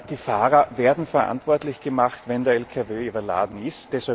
Die Fahrer werden verantwortlich gemacht, wenn der Lkw überladen ist.